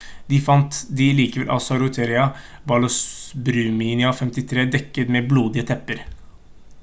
der fant de liket av saroja balasubramanian 53 dekket med blodige tepper